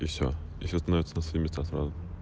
все ещё минут